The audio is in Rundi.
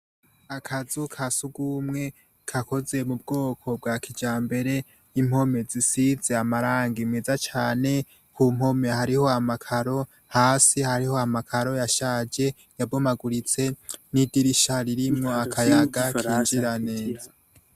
Akazi ka sugumwe gakoze mu bwoko bwa kijambere impome zisize amarangi meza cane ,kumpome hariho amakaro, hasi hariho amakaro yashaje yabomaguritse nidirisha ririmwo akayaga kinjira neza